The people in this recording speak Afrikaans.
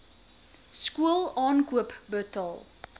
skool aankoop betaal